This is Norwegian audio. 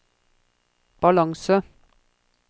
balanse